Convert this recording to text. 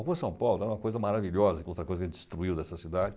A Rua São Paulo era uma coisa maravilhosa, outra coisa que a gente destruiu dessa cidade.